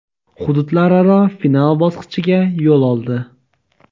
hududlararo final bosqichiga yo‘l oldi;.